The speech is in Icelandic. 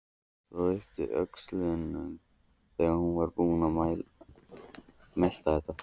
Og yppti öxlum þegar hún var búin að melta þetta.